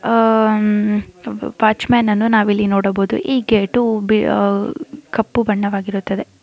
ಆಹ್ಹ್ watchman ಅನ್ನು ನಾವು ಇಲ್ಲಿ ನೋಡಬಹುದು ಈ ಗೇಟು ಆಹ್ಹ್ ಕಪ್ಪು ಬಣ್ಣವಾಗಿರುತ್ತದೆ .